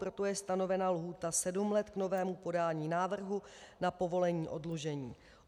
Proto je stanovena lhůta sedm let k novému podání návrhu na povolení oddlužení.